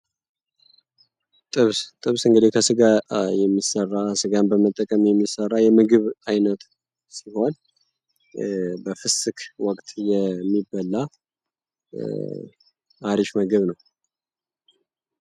ጥብስ ጥብስ እንግዲህ ስጋ በመጠቀም የሚሰራ የምግብ አይነት ሲሆን በፍስክ ወቅት የሚበላ አሪፍ ምግብ ነው።